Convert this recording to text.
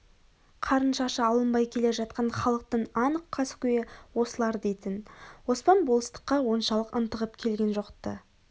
қарын шашы алынбай келе жатқан халықтың анық каскөйі осылар дейтін оспан болыстыққа оншалық ынтығып келген жоқ-ты